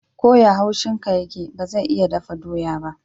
Ko ya haushin ka yake, ba zai iya dafa doya ba.